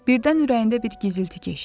Birdən ürəyində bir gizilti keçdi.